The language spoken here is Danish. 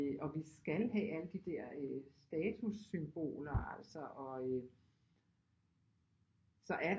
Og vi skal have alle de der statussymboler altså og øh så er